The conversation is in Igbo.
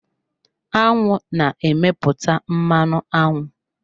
Aṅụ na-emepụta mmanụ aṅụ.